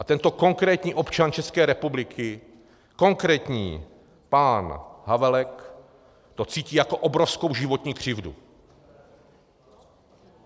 A tento konkrétní občan České republiky, konkrétní pán Havelek, to cítí jako obrovskou životní křivdu.